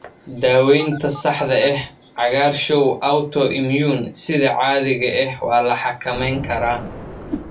Daaweynta saxda ah, cagaarshow autoimmune sida caadiga ah waa la xakameyn karaa.